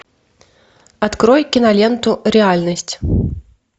открой киноленту реальность